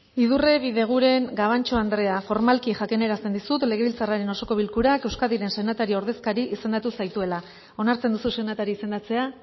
idurre bideguren gabantxo andrea formalki jakinarazten dizut legebiltzarraren osoko bilkurak euskadiren senatari ordezkari izendatu zaituela onartzen duzu senatari izendatzea